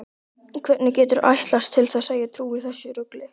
Hvernig geturðu ætlast til að ég trúi þessu rugli?